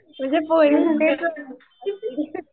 म्हणजे